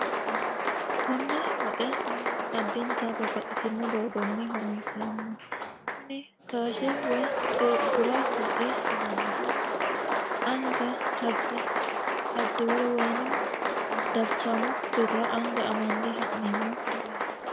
konne woxe mannu addinta babbaxitino doogonni horonsi'rammo kuni kaashe woy bura woxe yinannihu anga hardiwere woyini darchamo birra anga amanne ha'neemmo garaata